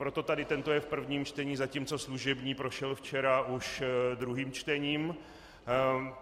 Proto tady tento je v prvním čtení, zatímco služební prošel včera už druhým čtením.